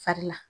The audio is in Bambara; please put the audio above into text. Fari la